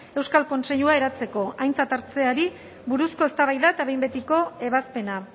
euskal kontseilua eratzeko aintzat hartzeari buruzko eztabaida eta behin betiko ebazpena